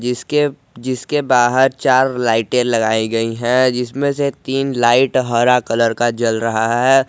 इसके जिसके बाहर चार लाइटे लगाई गई हैं जिसमें से तीन लाइट हरा कलर का जल रहा है।